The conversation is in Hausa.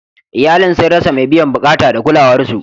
Iyalin sun rasa mai biyan bukata da kulawar su.